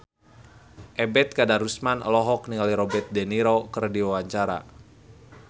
Ebet Kadarusman olohok ningali Robert de Niro keur diwawancara